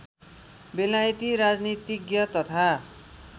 बेलायती राजनीतिज्ञ तथा